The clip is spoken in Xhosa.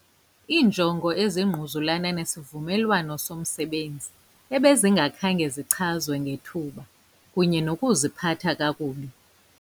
Iinjongo ezingquzulana nesivumelwano somsebenzi ebezingakhange zichazwe ngethuba, kunye Nokuziphatha kakubi.